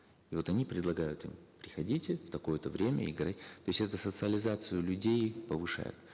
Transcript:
и вот они предлагают им приходите в такое то время играть то есть это социализацию людей повышает